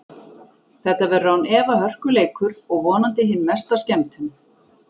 Þetta verður án efa hörku leikur og vonandi hin mesta skemmtun.